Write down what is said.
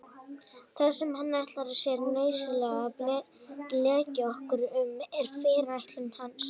Það sem hann ætlar sér nauðsynlega að blekkja okkur um er fyrirætlun hans.